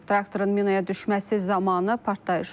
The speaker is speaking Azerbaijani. Traktorun minaya düşməsi zamanı partlayış olub.